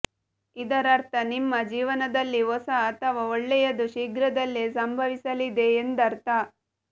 ಇದರರ್ಥ ನಿಮ್ಮ ಜೀವನದಲ್ಲಿ ಹೊಸ ಅಥವಾ ಒಳ್ಳೆಯದು ಶೀಘ್ರದಲ್ಲೇ ಸಂಭವಿಸಲಿದೆ ಎಂದರ್ಥ